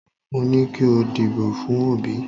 Mo ní kí o dìbò fún Òbí